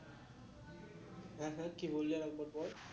হ্যাঁ হ্যাঁ কি বললি আরেকবার বল